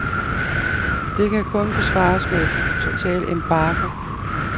Det kan kun besvares med en total embargo.